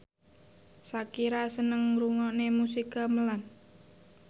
Shakira seneng ngrungokne musik gamelan